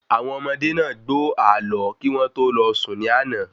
Àwọn ọmọdé náà gbó ààlọ́ kí wọ́n tó lọ sùn ní àná